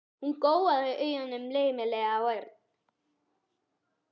Hún gjóaði augunum laumulega á Örn.